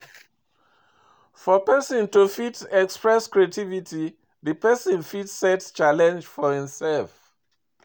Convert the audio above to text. For perosn to fit express creativity di person fit set challenge for im self